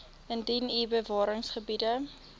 indien u bewaringsgebiede